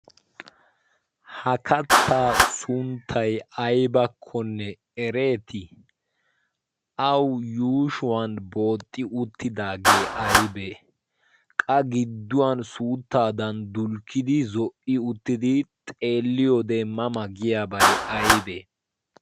hakattaa sunttay aybakkonne ereeti awu yushuwan booxxi uttidaagee aybee qa gidduwan suuttaadan dulkkidi zo'i uttidi xeelliyo deemmama giyaabay aybee?